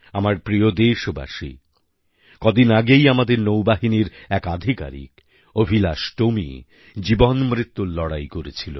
আমার প্রিয় দেশবাসী কদিন আগেই আমাদের নৌবাহিনীর এক আধিকারিক অভিলাষ টোমি জীবনমৃত্যুর লড়াই লড়ছিল